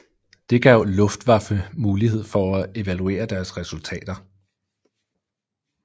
Det gav Luftwaffe mulighed for at evaluere deres resultater